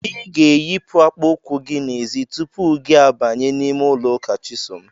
I ga-eyipụ akpa ụkwụ gị n'ezi tupu gị abanye n'ime ụlọ ụka Chisom.